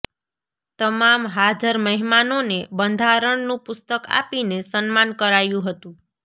તમામ હાજર મહેમાનોને બંધારણનું પુસ્તક આપીને સન્માન કરાયું હતું